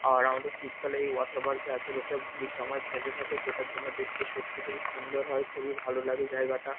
আর আমাদের শীতকালে এই ওয়াটার পার্ক -এ এতো লোকে ভিড় জমায়েত বেঁধে থাকে যেটার জন্য দেখতে সত্যি খুবই সুন্দর হয় খুবই ভালো লাগে জায়গাটা।